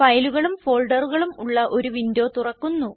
ഫയലുകളും ഫോൾഡറുകളും ഉള്ള ഒരു വിൻഡോ തുറക്കുന്നു